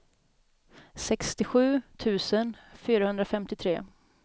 sextiosju tusen fyrahundrafemtiotre